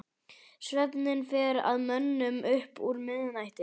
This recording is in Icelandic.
Svefninn fer að mönnum upp úr miðnætti.